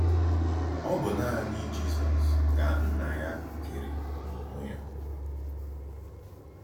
Ọ̀ bụ́ nanị Jízọs ka Nnà yá kèrè n’ònwé yá.